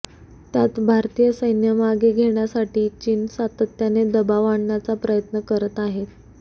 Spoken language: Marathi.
त्यात भारतीय सैन्य मागे घेण्यासाठी चीन सातत्याने दबाव आणण्याचा प्रयत्न करत आहे